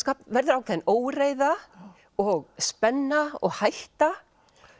verður ákveðin óreiða og spenna og hætta